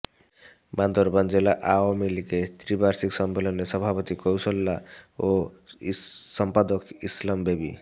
বান্দরবান জেলা আওয়ামীলীগের ত্রি বার্ষিক সম্মেলনে সভাপতি ক্যশৈহ্লা ও সম্পাদক ইসলাম বেবী